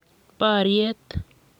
boriet